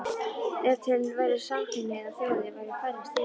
Ef til væru samkynhneigðar þjóðir væru færri stríð í heim